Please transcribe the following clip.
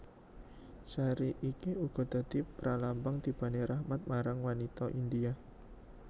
Sari iki uga dadi pralambang tibane rahmat marang wanita India